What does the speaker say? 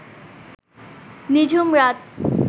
নিঝুম রাত